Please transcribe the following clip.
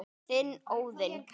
Þinn, Óðinn.